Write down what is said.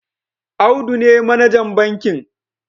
Audu ne manajan bankin